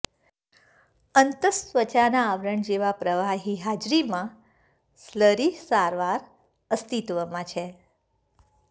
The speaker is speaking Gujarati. અન્તસ્ત્વચાના આવરણ જેવા પ્રવાહી હાજરીમાં સ્લરી સારવાર અસ્તિત્વમાં છે